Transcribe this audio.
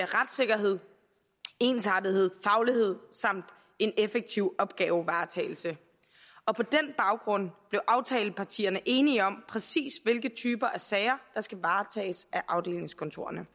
retssikkerhed ensartethed faglighed samt en effektiv opgavevaretagelse og på den baggrund blev aftalepartierne enige om præcis hvilke typer sager der skal varetages af afdelingskontorerne